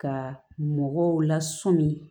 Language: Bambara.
Ka mɔgɔw lasɔmi